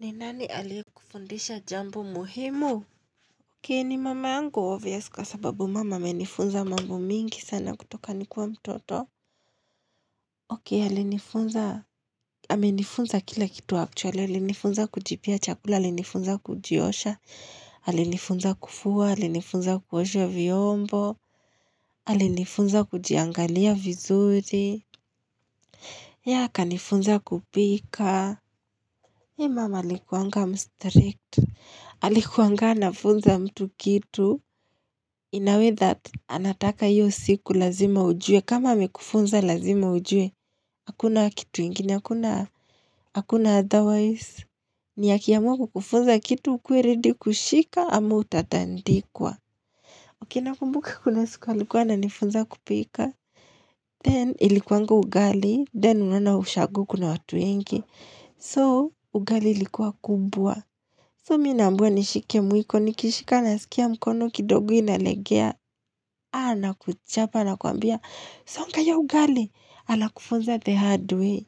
Ni nani aliyekufundisha jambo muhimu? Ok mama yangu obvious kwa sababu mama amenifunza mambo mingi sana kutoka nikuwa mtoto. Ok alinifunza, amenifunza kila kitu actually, alinifunza kujipea chakula, alinifunza kujiosha, alinifunza kufua, alinifunza kuosha vyombo, alinifunza kujiangalia vizuri. Akanifunza kupika. Mama alikuanga mstrict. Alikuangana anafunza mtu kitu In a way that anataka hiyo siku lazima ujue kama amekufunza lazima ujue hakuna kitu ingine hakuna hakuna otherwise ni akiamua kukufunza kitu ukuwe ready kushika ama utatandikwa Ok nakumbuka kuna siku alikuwa ananifunza kupika, then ilikuanga ugali, then unaona ushagu kuna watu wengi, so ugali ilikuwa kubwa, so mi naambiwa nishike mwiko nikishika nasikia mkono kidogo inalegea ana kuchapa anakuambia songa hio ugali, anakufunza the hard way.